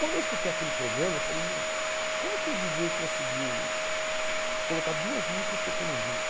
Quando eu escutei aquele programa, eu falei, meu, como que o díi djêi conseguiu colocar duas músicas tocando junto?